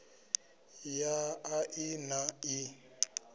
ya a i na ii